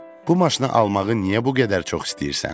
Bu maşını almağı niyə bu qədər çox istəyirsən?